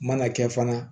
Mana kɛ fana